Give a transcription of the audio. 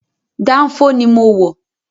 Dánfó ni mo wọ̀